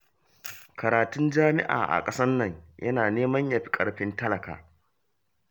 Karatun jami'a a ƙasar nan yana neman ya fi ƙarfin talaka